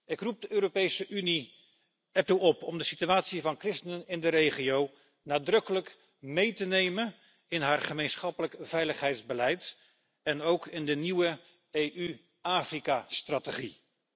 Ik roep de Europese Unie ertoe op om de situatie van christenen in de regio nadrukkelijk mee te nemen in haar gemeenschappelijk veiligheidsbeleid en ook in de nieuwe EU Afrika strategie.